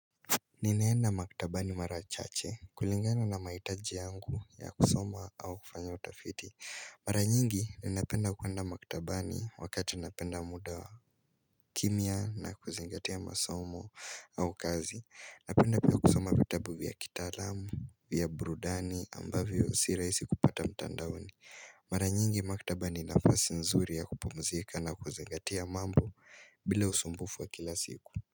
Ninaenda maktabani marachache kulingana na maitaji yangu ya kusoma au kufanya utafiti Mara nyingi ninapenda kuwanda maktabani wakata napenda muda wa kimia na kuzingatia masomo au kazi Napenda pia kusoma vitabu vya kitalamu, vya burudani ambavyo usira isi kupata mtandaoni Mara nyingi maktabani nafasi nzuri ya kupumzika na kuzingatia mambo bila usumbufu wa kila siku.